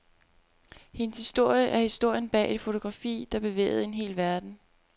Hendes historie er historien bag et fotografi, der bevægede en hel verden.